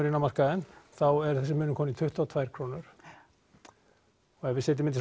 inn á markaðinn þá er þessi munur kominn í tuttugu og tvær krónur og ef við setjum þetta